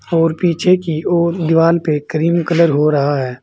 और पीछे की ओर दीवाल पे क्रीम कलर हो रहा है।